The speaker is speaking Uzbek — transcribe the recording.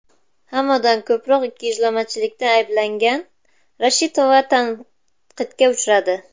Hammadan ko‘proq ikkiyuzlamachilikda ayblangan Reshetova tanqidga uchradi.